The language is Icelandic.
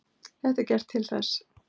Þetta er gert til þess.